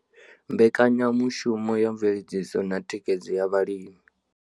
Mbekanyamushumo ya mveledziso na thikhedzo ya vhalimi.